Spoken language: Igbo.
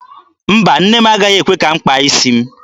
Mba, nne m agaghị ekwe m kpaa isi m.